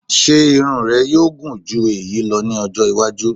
Ṣe irun rẹ yoo gun ju eyi lọ ni ọjọ iwaju?